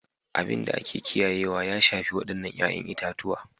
Abin da ake kiyayewa ya shafi waɗannan 'ya'yan itatuwa